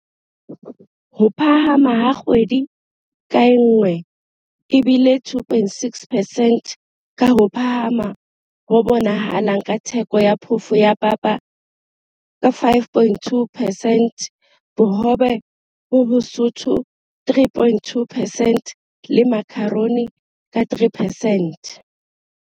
Ho phahama ha kgwedi ka nngwe e bile 2.6 percent, ka ho phahama ho bonahalang ha theko ya phofo ya papa ka 5.2 percent, bohobe bo bosootho 3.2 percent le makharoni ka 3 percent.